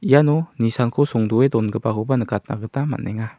iano nisanko songdoe dongipakoba nikatna gita man·enga.